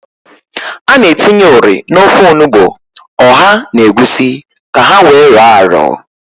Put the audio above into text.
A na-etinye ụrị n'ofe onugbo, ọha na egwusi ka ha wee rọọ arọ.